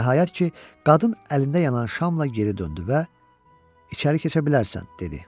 Nəhayət ki, qadın əlində yanan şamla geri döndü və içəri keçə bilərsən dedi.